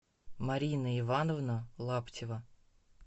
марина ивановна лаптева